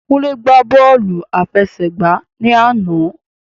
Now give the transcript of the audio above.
Kúnlé gbá bọ́ọ̀lù àfẹsẹ̀gbá ni àná.